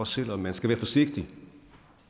selv om man skal være forsigtig